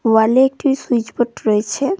ওয়াল -এ একটি সুইচবোট রয়েছে।